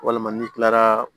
Walima n'i kilara